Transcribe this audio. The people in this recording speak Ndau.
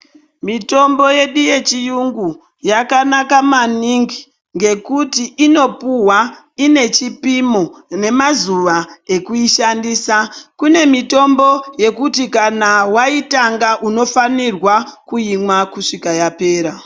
Mitombo yedu yechiyungu ,yakanaka maningi nekuti inopuwa ngechipimo, ngemazuva ekuyishandisa. Kune mitombo yekuti kana wayitanga unofanirwa kuinwa kusvika yapera.